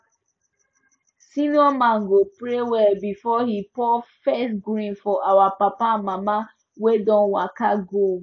senior man go pray well before he pour first grain for our papa and mama wey don waka go